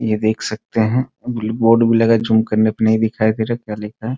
ये देख सकते हैं ब्लू बोर्ड भी लगा है जूम करने पर नहीं दिखाई दे रहा है क्या लिखा है ।